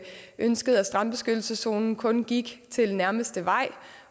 ønskede at strandbeskyttelseszonen kun gik til den nærmeste vej